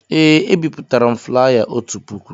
Ee, ebipụtara m flaya otu puku